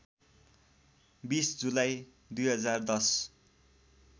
२० जुलाई २०१०